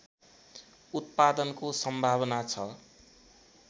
उत्पादनको सम्भावना छ